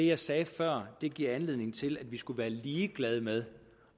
jeg sagde før giver anledning til at vi skulle være ligeglade med